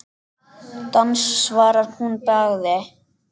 Dans svarar hún að bragði.